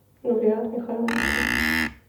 нурият михайловичу